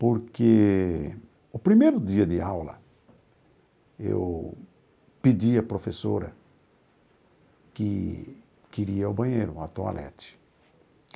Porque no primeiro dia de aula, eu pedi à professora que queria ir ao banheiro, a toalete.